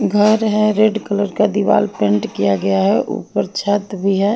घर है red colour का दीवार पेंट किया गया है ऊपर छत भी है।